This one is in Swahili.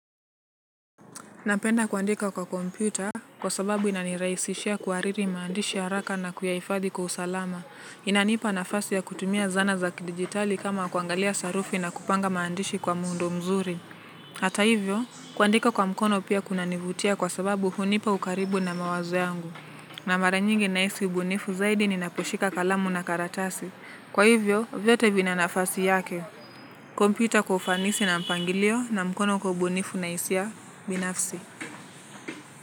Napenda kuandika kwa kompyuta kwa sababu inaniraisishia kuhariri maandishi haraka na kuyaifadhi kwa usalama. Inanipa nafasi ya kutumia zana za kidijitali kama ya kutumia zana za kidijitali kama kuangalia sarufi na kupanga maandishi kwa muundo mzuri hata hivyo kuandika kwa mkono pia kunanivutia kwa sababu hunipa ukaribu na mawazo yangu. Na mara nyingi nahisi ubunifu zaidi ninaposhika kalamu na karatasi. Kwa hivyo, vyote vina nafasi yake. Kompyuta kufanisi na mpangilio na mkono ubunifu na hisia binafsi.